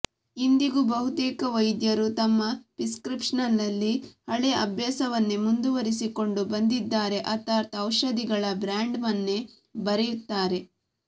ಇಂದಿಗೂ ಬಹುತೇಕ ವೈದ್ಯರು ತಮ್ಮ ಪ್ರಿಸ್ಕ್ರಿಪ್ಷನ್ನಲ್ಲಿ ಹಳೇ ಅಭ್ಯಾಸವನ್ನೇ ಮುಂದುವರಿಸಿಕೊಂಡು ಬಂದಿದ್ದಾರೆ ಅರ್ಥಾತ್ ಔಷಧಿಗಳ ಬ್ರ್ಯಾಂಡ್ ನೇಮನ್ನೇ ಬರೆಯುತ್ತಾರೆ